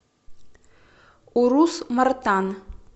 урус мартан